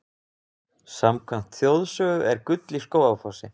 Samkvæmt þjóðsögu er gull í Skógafossi.